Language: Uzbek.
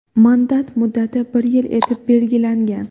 Mandat muddati bir yil etib belgilangan.